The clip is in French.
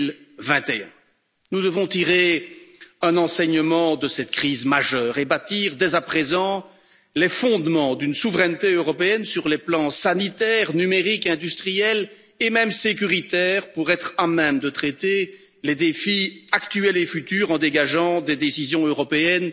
2021. Nous devons tirer un enseignement de cette crise majeure et bâtir dès à présent les fondements d'une souveraineté européenne sur les plans sanitaire, numérique, industriel et même sécuritaire, pour être à même de traiter les défis actuels et futurs en dégageant des décisions européennes